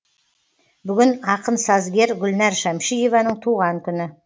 бүгін ақын сазгер гүлнәр шәмшиеваның туған күні